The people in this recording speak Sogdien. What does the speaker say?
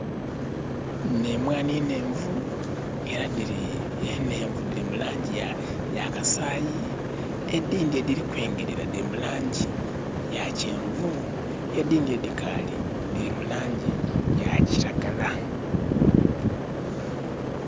Nh'emwaanhi nhenvu era dhili, enhenvu dhili mu laangi ya kasaayi. Edhindhi edhili kwengerera dhili mu laangi ya kyenvu. Edhindhi edhikaali dhili mu laangi ya kiragala.